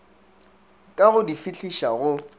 ka go di fihliša go